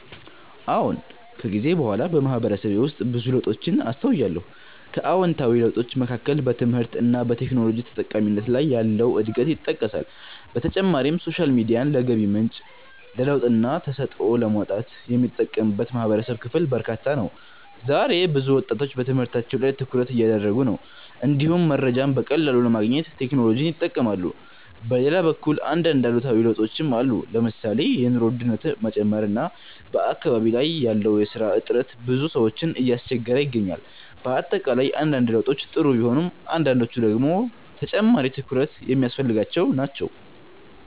አዎን። ከጊዜ በኋላ በማህበረሰቤ ውስጥ ብዙ ለውጦችን አስተውያለሁ። ከአዎንታዊ ለውጦች መካከል በትምህርት እና በቴክኖሎጂ ተጠቃሚነት ላይ ያለው እድገት ይጠቀሳል። በተጨማሪም ሶሻል ሚዲያን ለገቢ ምንጭ፣ ለለውጥና ተሰጥኦን ለማውጣት የሚጠቀምበት የማህበረሰብ ክፍል በርካታ ነው። ዛሬ ብዙ ወጣቶች በትምህርታቸው ላይ ትኩረት እያደረጉ ነው፣ እንዲሁም መረጃን በቀላሉ ለማግኘት ቴክኖሎጂን ይጠቀማሉ። በሌላ በኩል አንዳንድ አሉታዊ ለውጦችም አሉ። ለምሳሌ የኑሮ ውድነት መጨመር እና በአካባቢ ያለው የስራ እጥረት ብዙ ሰዎችን እያስቸገረ ይገኛል። በአጠቃላይ አንዳንድ ለውጦች ጥሩ ቢሆኑም አንዳንዶቹ ደግሞ ተጨማሪ ትኩረት የሚያስፈልጋቸው ናቸው።